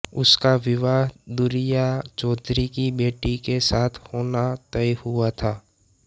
उसका विवाह दुरिया चौधरी की बेटी के साथ होना तय हुआ था